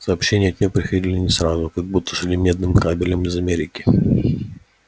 сообщения от нее приходили не сразу как будто шли медным кабелем из америки